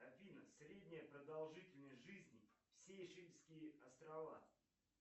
афина средняя продолжительность жизни сейшельские острова